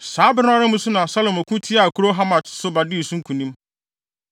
Saa bere no ara mu nso na Salomo ko tiaa kurow Hamat-Soba, dii so nkonim.